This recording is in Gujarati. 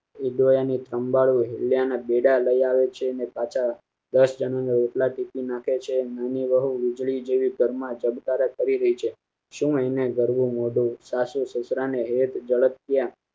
એ દોયાની સંભાળવું અને બેડા લઈ આવે છે અને પાછા દસ જણા ને એટલા ટીપી નાખે છે નાની વહુ વીજળી જેવી ઘરમાં ચમકારે કરી રહી છે શું એને ગરબો મોડું સાસુ સસરાને હેત ઝડપીયા